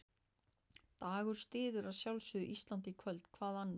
Dagur styður að sjálfsögðu Ísland í kvöld, hvað annað?